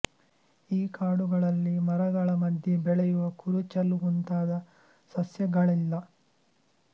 ಈ ಕಾಡುಗಳಲ್ಲಿ ಮರಗಳ ಮಧ್ಯೆ ಬೆಳೆಯುವ ಕುರುಚಲು ಮುಂತಾದ ಸಸ್ಯಗಳಿಲ್ಲ